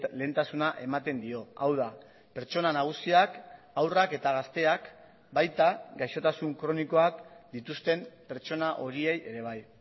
lehentasuna ematen dio hau da pertsona nagusiak haurrak eta gazteak baita gaixotasun kronikoak dituzten pertsona horiei ere bai